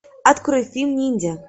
открой фильм ниндзя